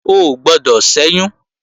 O ò gbọdọ̀ ṣẹ́yún!